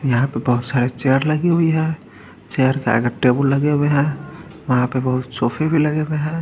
यहा पर बोहोत सारे चेयर लगी हुई है चेयर के आगे टेबुल लगे हुए है वहा पे बहुत सोफे भी लगे हुए है।